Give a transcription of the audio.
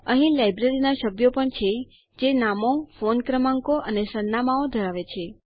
અહીં લાઈબ્રેરીના સભ્યો પણ છે જે નામો ફોન ક્રમાંકો અને સરનામાંઓ ધરાવે છે